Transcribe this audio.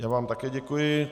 Já vám také děkuji.